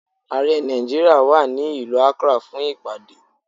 Ààrẹ Nàìjíríà wà ní ìlú Akrá fún ìpàdé.